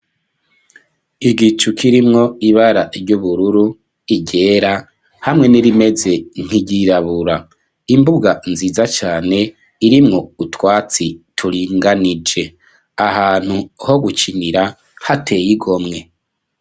Igicu kirimwo ibara ry'ubururu iryera hamwe n'irimeze nkigirabura imbuga nziza cyane irimwo utwatsi turinganije ahantu ho gukinira hateye igomwe.